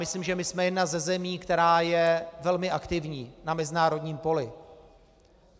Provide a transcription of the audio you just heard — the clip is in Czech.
Myslím, že my jsme jedna ze zemí, která je velmi aktivní na mezinárodním poli.